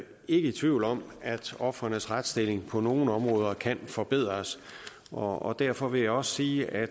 ikke i tvivl om at ofrenes retsstilling på nogle områder kan forbedres og derfor vil jeg også sige at